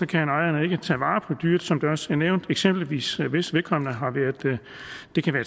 kan ejeren ikke tage vare dyret som det også er nævnt eksempelvis hvis vedkommende har været